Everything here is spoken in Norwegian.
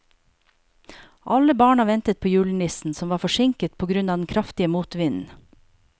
Alle barna ventet på julenissen, som var forsinket på grunn av den kraftige motvinden.